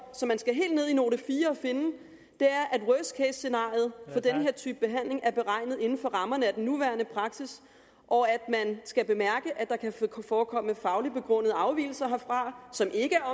som man skal helt ned i note fire for at finde er at worst case scenariet for den her type behandling er beregnet inden for rammerne af den nuværende praksis og at man skal bemærke at der kan forekomme fagligt begrundet afvigelser herfra som ikke